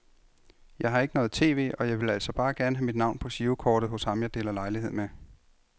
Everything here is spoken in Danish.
Jeg har ikke noget tv, og jeg ville altså bare gerne have mit navn på girokortet hos ham jeg deler lejlighed med.